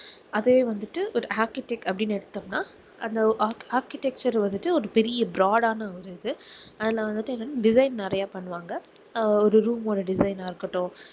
அதே வந்துட்டு architect அப்படின்னு எடுத்தோம்னா அந்த arch~ architecture வந்துட்டு ஒரு பெரிய broad ஆன ஒரு இது அதுல வந்துட்டு என்னன்னா design நிறைய பண்ணுவாங்க ஒரு room ஓட design ஆ இருக்கட்டும்